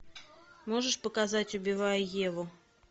можешь показать убивая еву